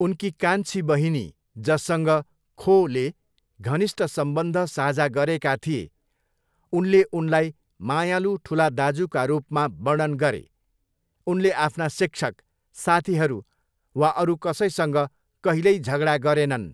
उनकी कान्छी बहिनी, जससँग खोले घनिष्ठ सम्बन्ध साझा गरेका थिए, उनले उनलाई मायालु ठुला दाजुका रूपमा वर्णन गरे, उनले आफ्ना शिक्षक, साथीहरू वा अरू कसैसँग कहिल्यै झगडा गरेनन्।